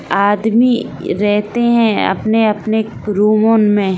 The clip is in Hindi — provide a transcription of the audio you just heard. आदमी रहते है अपने-अपने रूम में।